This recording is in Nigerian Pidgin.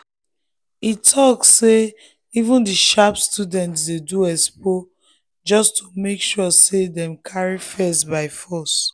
e talk say even the sharp students dey do expo just to make sure say dem carry first by force.